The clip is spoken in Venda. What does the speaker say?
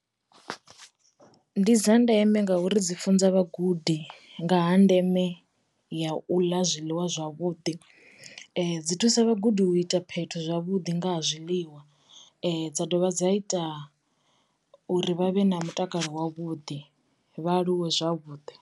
Ndi dza ndeme ngauri dzi funza vhagudi nga ha ndeme ya u ḽa zwiḽiwa zwavhuḓi. Dzi thusa vhagudi u ita phetho zwavhuḓi nga ha zwiḽiwa, um] dza dovha dza ita uri vha vhe na mutakalo wa vhuḓi vha aluwe zwavhuḓi.